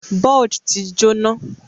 Buld ti jóná